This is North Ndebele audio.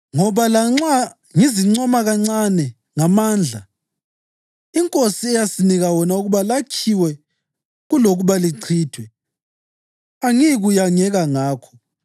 Ngoba lanxa ngizincoma kancane ngamandla iNkosi eyasinika wona ukuba lakhiwe kulokuba lichithwe, angiyikuyangeka ngakho.